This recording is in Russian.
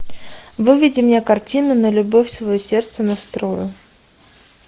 выведи мне картину на любовь свое сердце настрою